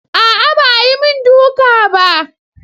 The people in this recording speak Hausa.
Aa ba ayi min duka bah.